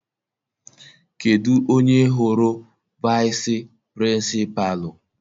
Kedụ onye hụrụ vaịsị pịrịnsịpalụ?